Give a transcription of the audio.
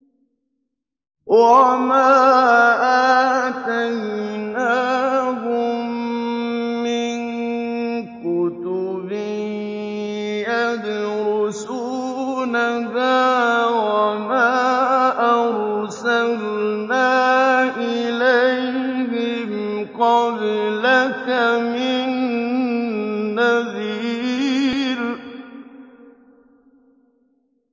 وَمَا آتَيْنَاهُم مِّن كُتُبٍ يَدْرُسُونَهَا ۖ وَمَا أَرْسَلْنَا إِلَيْهِمْ قَبْلَكَ مِن نَّذِيرٍ